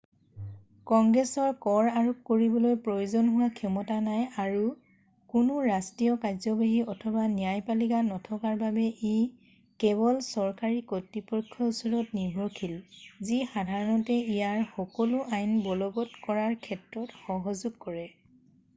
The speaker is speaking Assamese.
কংগ্ৰেছৰ কৰ আৰোপ কৰিবলৈ প্ৰয়োজন হোৱা ক্ষমতা নাই আৰু কোনো ৰাষ্ট্ৰীয় কাৰ্যবাহী অথবা ন্যায়পালিকা নথকাৰ বাবে ই কেৱল চৰকাৰী কৰ্তৃপক্ষৰ ওপৰত নিৰ্ভৰশীল যি সাধাৰণতে ইয়াৰ সকলো আইন বলবৎ কৰাৰ ক্ষেত্ৰত সহযোগ কৰে